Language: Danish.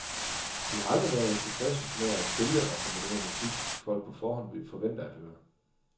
Vi har aldrig været tilfredse med at spille og komponere musik, folk på forhånd forventer at høre.